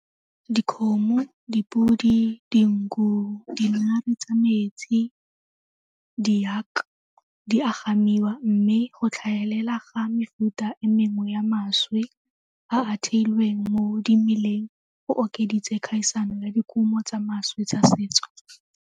Dikgomo, dipodi, dinku, dinare tsa metsi, di di a gamiwa mme go tlhagelela ga mefuta e mengwe ya mašwi a a theilweng mo dimeleng go okeditse kgaisano ya dikumo tsa mašwi tsa setso.